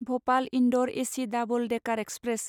भ'पाल इन्दौर एसि डाबोल डेकार एक्सप्रेस